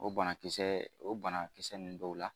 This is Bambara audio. O banakisɛ o banakisɛ ninnu dɔw la